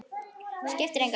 Skiptir engu.